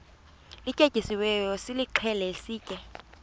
lityetyisiweyo nilixhele sitye